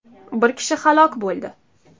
Bir kishi halok bo‘ldi.